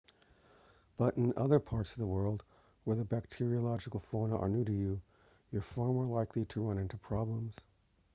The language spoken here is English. but in other parts of the world where the bacteriological fauna are new to you you're far more likely to run into problems